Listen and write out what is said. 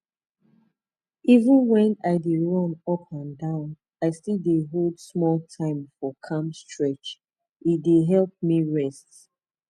even when i dey run up and down i still dey hold small time for calm stretch e dey help me rest